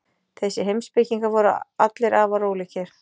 Þessir heimspekingar voru allir afar ólíkir.